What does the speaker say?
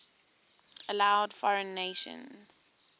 allowed foreign nations